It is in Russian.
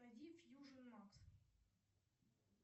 найди фьюжн макс